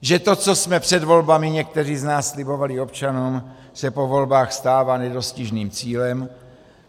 Že to, co jsme před volbami někteří z nás slibovali občanům, se po volbách stává nedostižným cílem?